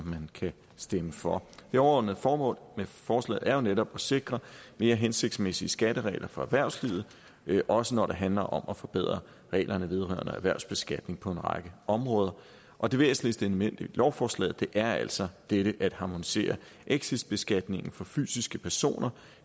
man kan stemme for det overordnede formål med forslaget er jo netop at sikre mere hensigtsmæssige skatteregler for erhvervslivet også når det handler om at forbedre reglerne vedrørende erhvervsbeskatning på en række områder og det væsentligste element i lovforslaget er altså dette med at harmonisere exitbeskatningen for fysiske personer